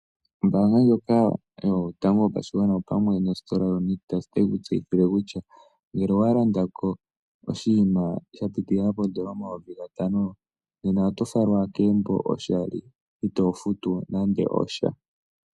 Ombaanga yotango yopashigwana opamwe nositola Nictus otayi ku tseyithile kutya ngele owa landa ko oshinima sha pitilila pomayuvi gatano nena oto falwa kegumbo oshali, ito futu nande osha.